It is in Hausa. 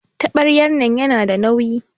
Tabaryan nan yana da nauyi.